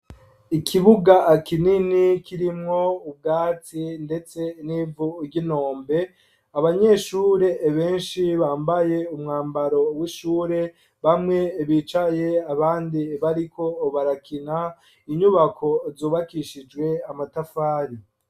Ikibuga kinini kirimwo ubwatsi, ndetse n'ivu ry'inombe, abanyeshure benshi bambaye umwambaro w'ishure, bamwe bicaye, abandi bariko barakina, inyubako zubakishijwe amatafari.